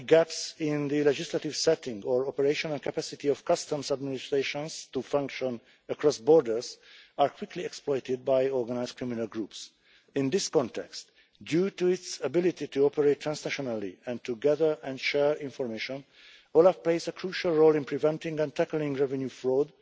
any gaps in the legislative setting or operational capacity of customs administrations to function across borders are quickly exploited by organised criminal groups. In this context, due to its ability to operate transnationally and to gather and share information, OLAF plays a crucial role in preventing and tackling revenue fraud,